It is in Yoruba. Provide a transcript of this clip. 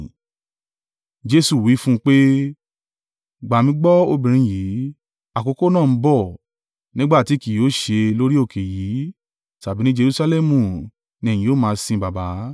Jesu wí fún un pé, “Gbà mí gbọ́ obìnrin yìí, àkókò náà ń bọ̀, nígbà tí kì yóò ṣe lórí òkè yìí tàbí ní Jerusalẹmu ni ẹ̀yin ó máa sin Baba.